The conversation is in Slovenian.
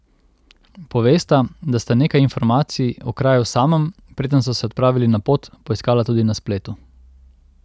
Povesta, da sta nekaj informacij o kraju samem, preden so se odpravili na pot, poiskala tudi na spletu.